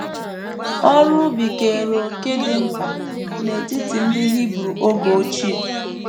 ỌRỤ ubi keere òkè dị mkpa n’etiti ndị Hibru oge ochie.